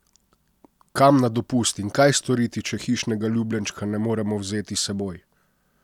Kam na dopust in kaj storiti, če hišnega ljubljenčka ne moremo vzeti s seboj?